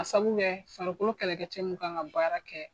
Ka sabu kɛ farikolo kɛlɛkɛcɛ mun kan ka baara kɛ